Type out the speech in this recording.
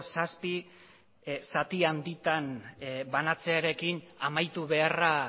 zazpi zati handitan banatzearekin amaitu beharra